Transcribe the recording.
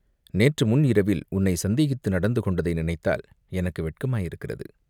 நேற்று முன் இரவில் உன்னைச் சந்தேகித்து நடந்து கொண்டதை நினைத்தால் எனக்கு வெட்கமாயிருக்கிறது.